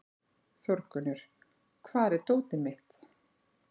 Þórgunnur, hvar er dótið mitt?